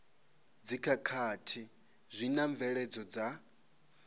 dzikhakhathi zwi na mvelelo dza